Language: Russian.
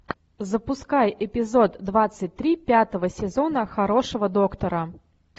запускай эпизод двадцать три пятого сезона хорошего доктора